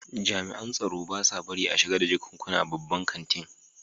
jami'an tsaro ba sa barin a shiga da jakunkuna babban kantin.